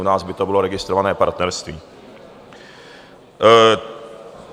U nás by to bylo registrované partnerství.